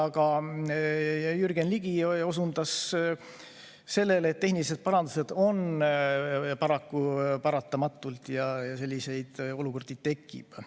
Aga Jürgen Ligi osundas sellele, et tehnilised parandused on paraku paratamatud ja selliseid olukordi tekib.